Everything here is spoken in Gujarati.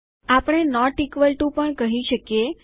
આપણે નોટ ઇકવલ ટુ પણ કહી શકીએ